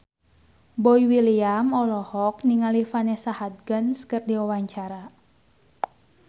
Boy William olohok ningali Vanessa Hudgens keur diwawancara